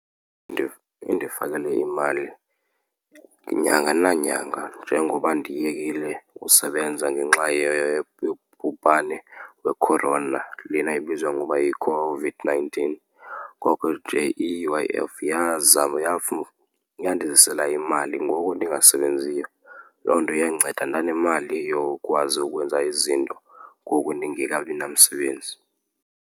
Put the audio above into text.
Indifikele imali nyanga nanyanga njengoba ndiyekile usebenza ngenxa yobhubhane we-corona lena ebizwa ngoba yiCOVID-nineteen. Ngoko nje i-U_I_F yazama yandizisela imali ngoku ndingasebenziyo. Loo nto yandinceda ndanemali yokwazi ukwenza izinto ngoku ndingekabi namsebenzi.